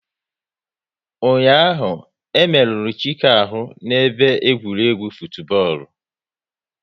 Ụnyaahụ, e merụrụ Chike ahụ n'ebe egwuregwu futubọọlu